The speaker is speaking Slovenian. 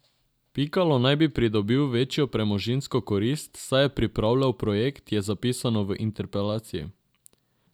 Pikalo naj bi pridobil večjo premoženjsko korist, saj je pripravljal projekt, je zapisano v interpelaciji.